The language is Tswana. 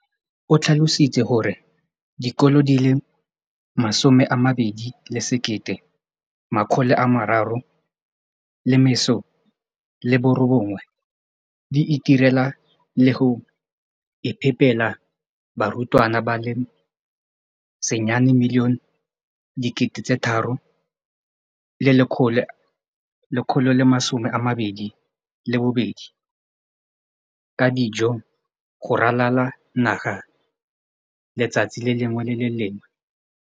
O tlhalositse gore dikolo di le 20 619 di itirela le go iphepela barutwana ba le 9 032 622 ka dijo go ralala naga letsatsi le lengwe le le lengwe.